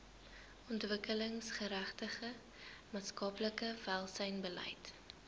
ontwikkelingsgerigte maatskaplike welsynsbeleid